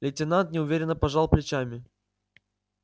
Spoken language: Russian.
лейтенант неуверенно пожал плечами